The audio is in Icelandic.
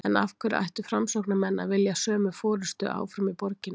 En af hverju ættu framsóknarmenn að vilja sömu forystu áfram í borginni?